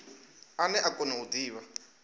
ane a kona u divha